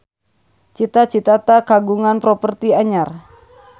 Cita Citata kagungan properti anyar